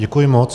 Děkuji moc.